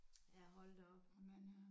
Ja hold da op